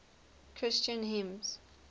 christian hymns